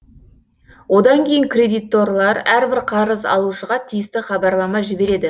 одан кейін кредиторлар әрбір қарыз алушыға тиісті хабарлама жібереді